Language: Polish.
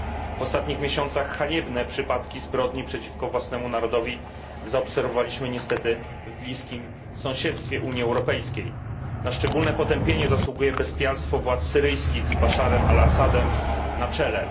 W ostatnich miesiącach haniebne przypadki zbrodni przeciwko własnemu narodowi zaobserwowaliśmy niestety w bliskim sąsiedztwie Unii Europejskiej. Na szczególne potępienie zasługuje bestialstwo władz syryjskich z Basharem al Assadem na czele.